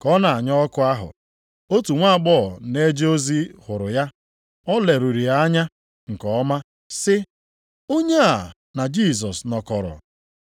Ka ọ na-anya ọkụ ahụ, otu nwaagbọghọ na-eje ozi hụrụ ya, o leruru ya anya nke ọma, sị, “Onye a na Jisọs nọkọrọ.”